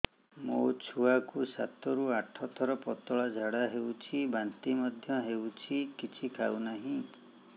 ମୋ ଛୁଆ କୁ ସାତ ରୁ ଆଠ ଥର ପତଳା ଝାଡା ହେଉଛି ବାନ୍ତି ମଧ୍ୟ୍ୟ ହେଉଛି କିଛି ଖାଉ ନାହିଁ